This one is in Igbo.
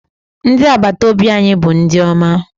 Ndị agbataobi anyị bụ ndị ọma.